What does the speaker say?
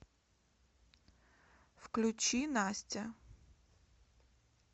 включи настя